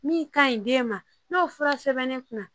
Min ka ɲi den ma n'o fura sɛbɛnnen kun na